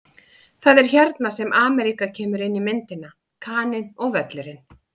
Það er hérna sem Ameríka kemur inn í myndina: Kaninn og Völlurinn.